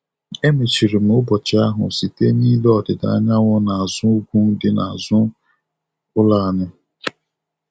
Emechiri m ụbọchị ahụ site n'ile ọdịda anyanwụ n'azụ ugwu dị n'azụ ụlọ anyị.